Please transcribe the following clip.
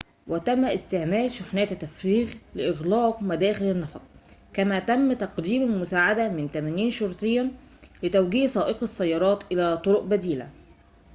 وتم استعمال شاحنات التفريغ لإغلاق مداخل النفق كما تم تقديم المساعدة من 80 شرطياً لتوجيه سائقي السيارات إلى طرقٍ بديلة